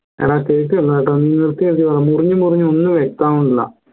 എടാ കേക്കുന്നില്ലട്ടോ നീ നിർത്തി നിർത്തി പറ മുറിഞ് മുറിഞ് ഒന്നും വ്യക്തമാന്നില്ല